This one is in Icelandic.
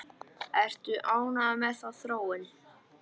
Ertu ánægður með þá þróun?